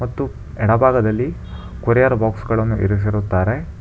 ಮತ್ತು ಎಡಭಾಗದಲ್ಲಿ ಕೊರಿಯರ್ ಬುಕ್ಸ್ಗ ಳನ್ನು ಇರಿಸಿರುತ್ತಾರೆ.